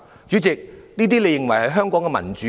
主席，你認為這就是香港的民主嗎？